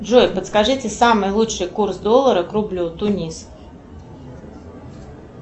джой подскажите самый лучший курс доллара к рублю тунис